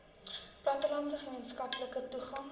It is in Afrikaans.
plattelandse gemeenskappe toegang